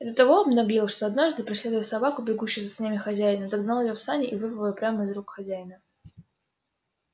и до того обнаглел что однажды преследуя собаку бегущую за санями хозяина загнал её в сани и вырвал её прямо из рук хозяина